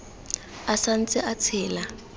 a sa ntse a tshela